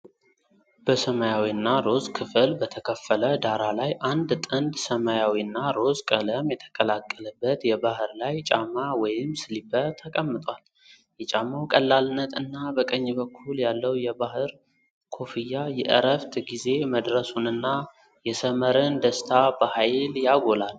በሰማያዊና ሮዝ ከፍል በተከፈለ ዳራ ላይ፣ አንድ ጥንድ ሰማያዊና ሮዝ ቀለም የተቀላቀለበት የባህር ላይ ጫማ (ስሊፐር) ተቀምጧል። የጫማው ቀላልነት እና በቀኝ በኩል ያለው የባህር ኮፍያ የዕረፍት ጊዜ መድረሱንና የሰመርን ደስታ በኃይል ያጎላል።